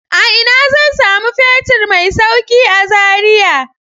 A ina zan samu fetur mai sauƙi a Zaria?